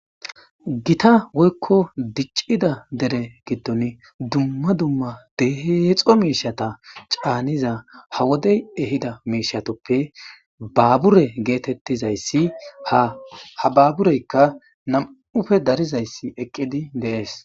gita woykko diccida dere giddon dumma dumma deexo miishata caaniza ha wodey ehida miishatoppe baabure geetettizayssi haha baabureykka nam7ufe darizayssi eqqidi deees